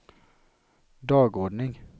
dagordning